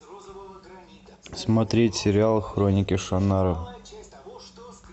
смотреть сериал хроники шаннары